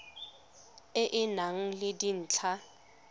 e e nang le dintlha